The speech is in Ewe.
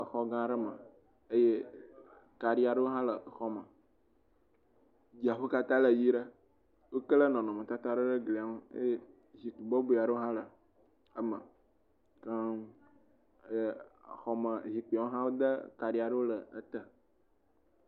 Exɔ gã aɖe me, eye kaɖi aɖewo hã le exɔ me, dziaƒo katã le ʋɛ̃ ɖe. Wokle nɔnɔmetata aɖewo ɖe glia ŋu eye zikpui bɔbɔe aɖewo hã le me keŋ. Ee xɔme, zikpuiawo hã, wode kaɖi aɖewo le ete.